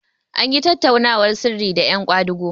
an yi tattaunawar sirri da yan kwadago